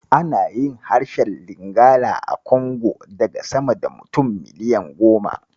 Ana yin harshen Lingala a Congo daga sama da mutum miliyan goma.